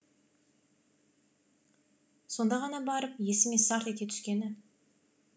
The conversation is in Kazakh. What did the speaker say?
сонда ғана барып есіме сарт ете түскені